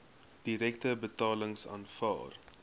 direkte betalings aanvaar